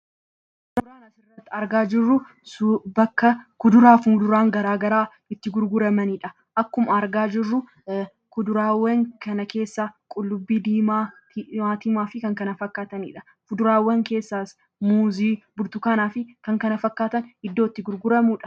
Suuraan asirratti argaa jirru, bakka kuduraa fi fuduraan garaagaraa itti gurguramanidha. Akkuma argaa jirru, kuduraawwan kana keessaa qullubbii diimaa, timaatima fi kan kana fakkaatanidha. Fuduraawwan keessaas muuzii, burtukaana fi kan kana fakkaatan iddoo itti gurguramudha.